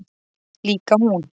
Líka hún.